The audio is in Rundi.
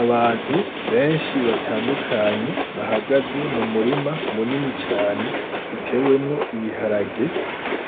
Abantu benshi batandukanye bahagaze mu murima munini cane utewemwo ibiharage